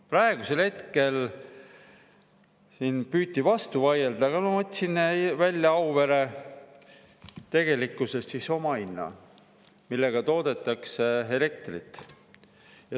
Praegu siin püüti vastu vaielda, aga ma võtsin välja Auvere tegeliku omahinna, millega toodetakse elektrit.